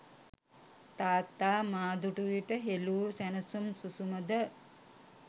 තාත්තා මා දුටු විට හෙළුෑ සැනසුම් සුසුමද